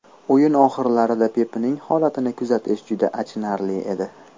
O‘yin oxirlarida Pepning holatini kuzatish juda achinarli edi.